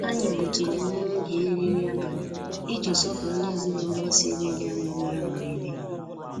Anyị gbutụrụ obere oge iri nri abalị iji sọpụrụ ndị ezinụlọ sí ebe dị ányá bịara mberede.